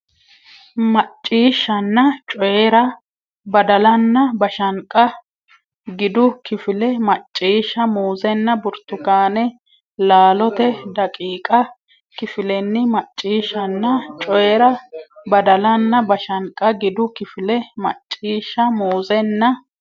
Macciishshanna Coyi ra Badalanna bashanqa gidu kifile Macciishsha Muuzenna burtukaane laalote daqiiqa kifilenni Macciishshanna Coyi ra Badalanna bashanqa gidu kifile Macciishsha Muuzenna.